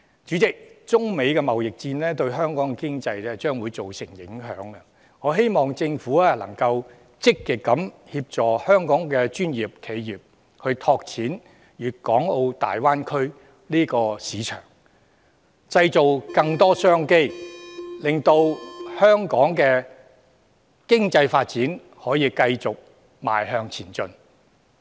主席，中美貿易戰將會對香港的經濟造成影響，我希望政府積極協助香港的專業企業，拓展大灣區市場，製造更多商機，令香港的經濟發展繼續向前邁進。